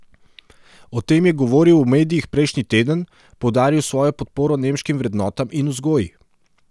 O tem je govoril v medijih prejšnji teden, poudaril svojo podporo nemškim vrednotam in vzgoji.